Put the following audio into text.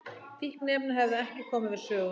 Fíkniefni hefðu ekki komið við sögu